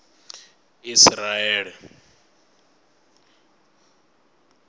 isiraele